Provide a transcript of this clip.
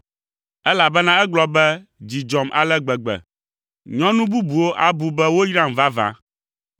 elabena egblɔ be, “Dzi dzɔm ale gbegbe! Nyɔnu bubuwo abu be woyram vavã!”